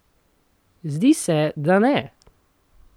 Zdi se, da ne!